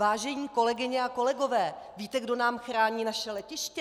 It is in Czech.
Vážené kolegyně a kolegové, víte, kdo nám chrání naše letiště?